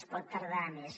es pot tardar més